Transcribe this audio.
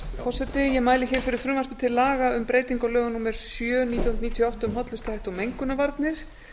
forseti ég mæli hér fyrir frumvarpi til laga um breytingu á lögum númer sjö nítján hundruð níutíu og átta um hollustuhætti og mengunarvarnir